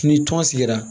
Ni tɔn sigira